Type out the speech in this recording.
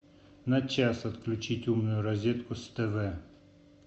на час отключить умную розетку с тв